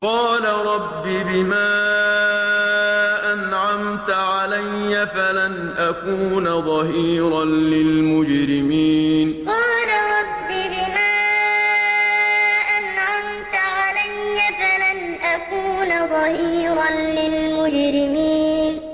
قَالَ رَبِّ بِمَا أَنْعَمْتَ عَلَيَّ فَلَنْ أَكُونَ ظَهِيرًا لِّلْمُجْرِمِينَ قَالَ رَبِّ بِمَا أَنْعَمْتَ عَلَيَّ فَلَنْ أَكُونَ ظَهِيرًا لِّلْمُجْرِمِينَ